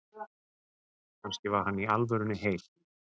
Kannski var hann í alvörunni heil